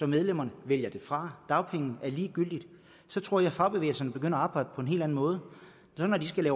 medlemmerne vælger det fra dagpenge er ligegyldigt så tror jeg fagbevægelserne begynder at arbejde på en helt anden måde når de skal